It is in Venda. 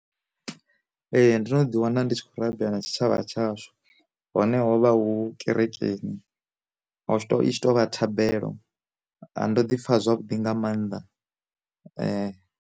Ee ndo no ḓi wana ndi tshi kho rabela na tshi tshavha tsha shu, hone hovha hu kereke i tshi tou vha thabelo a ndo ḓi pfha zwavhuḓi nga maanḓa .